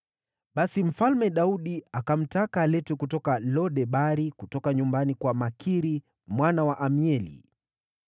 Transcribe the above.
Basi Mfalme Daudi akamtaka aletwe kutoka Lo-Debari, kutoka nyumbani kwa Makiri mwana wa Amieli.